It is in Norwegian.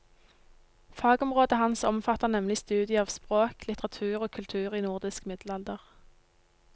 Fagområdet hans omfatter nemlig studiet av språk, litteratur og kultur i nordisk middelalder.